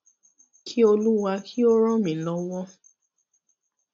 kí olúwa kí ó ràn mí lọwọ